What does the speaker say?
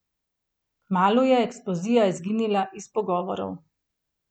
Kmalu je eksplozija izginila iz pogovorov.